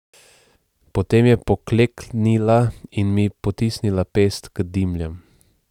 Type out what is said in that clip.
Potem je pokleknila in mi potisnila pest k dimljam.